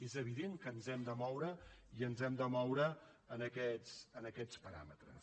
és evident que ens hem de moure i ens hem de moure en aquests paràmetres